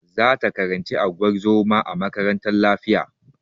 Za ta karanci unguwar zoma a makarantar lafiya.